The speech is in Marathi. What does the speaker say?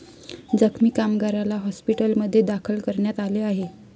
जखमी कामगाराला हॉस्पिटलमध्ये दाखल करण्यात आले आहे.